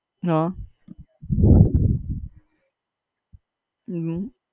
આહ હમ